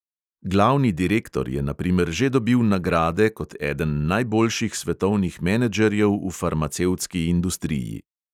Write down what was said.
Glavni direktor je na primer že dobil nagrade kot eden najboljših svetovnih menedžerjev v farmacevtski industriji.